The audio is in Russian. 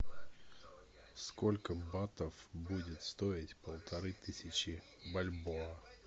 сколько батов будет стоить полторы тысячи бальбоа